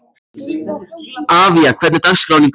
Avía, hvernig er dagskráin í dag?